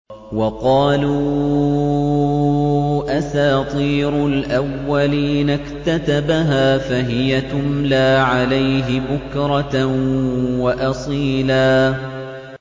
وَقَالُوا أَسَاطِيرُ الْأَوَّلِينَ اكْتَتَبَهَا فَهِيَ تُمْلَىٰ عَلَيْهِ بُكْرَةً وَأَصِيلًا